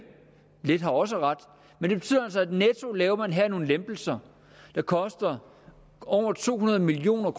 lidt har også ret men det betyder altså at netto laver nogle lempelser der koster over to hundrede million